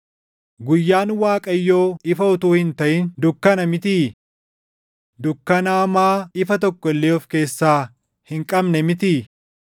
Guyyaan Waaqayyoo ifa utuu hin taʼin dukkana mitii? Dukkana hamaa ifa tokko illee of keessaa hin qabne mitii?